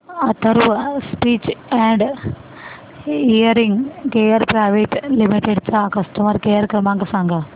Atharva speech and hearing care private limited चा customer care क्रमांक सांगा